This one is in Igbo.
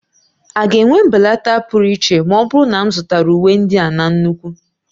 A ga-enwe mbelata pụrụ iche ma ọ bụrụ na m zụtara uwe ndị a na nnukwu?